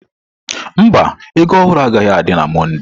Mba, ego ohuru agaghị adị na Mọnde.